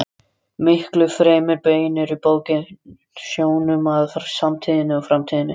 Miklu fremur beinir bókin sjónum að samtíðinni og framtíðinni.